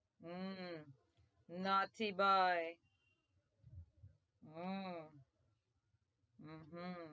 હમ ના થી બાઈ હમમ હમમ